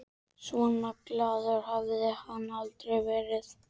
Svona glaður hafði hann aldrei verið.